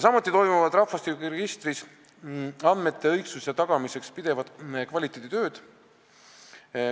Samuti toimuvad rahvastikuregistris andmete õigsuse tagamiseks pidevad kvaliteeditööd.